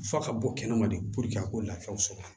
F'a ka bɔ kɛnɛma de a ka lafiyaw sɔrɔ